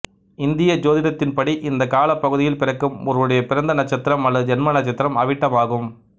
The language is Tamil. இந்திய சோதிடத்தின்படி இந்தக் காலப் பகுதியில் பிறக்கும் ஒருவருடைய பிறந்த நட்சத்திரம் அல்லது ஜன்ம நட்சத்திரம் அவிட்டம் ஆகும்